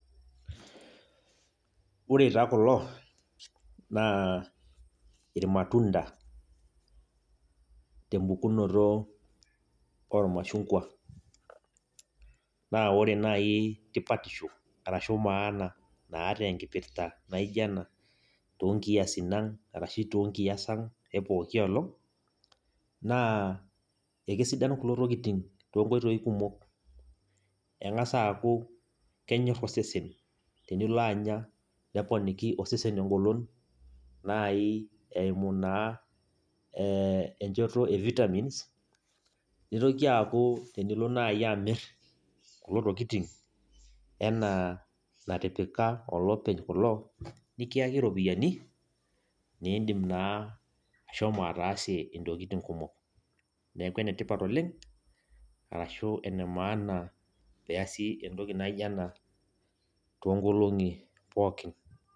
Ore taa kulo naa irmatunda , tembukunoto ormashunkwa . Naa ore nai tipatisho arashu maana naata naijo ena , toonkiasin ang ashu toonkias ang epooki olong naa ekesidai kulo tokitin too nkoitoi kumok . Engas aaku kenyor osesen tenilo anya , neponiki osesen engolon nai eimu naa enchoto e vitamins. Nitoki aaku tenilo nai amir kulo tokitin enaa natipika olopeny kuna, nikiyaki iropiyiani , nindim naa ashomo ataasie intokitin kumok .Neeku ene tipat oleng arashu ene maana peasi entoki naijo ena too nkolongi pookin.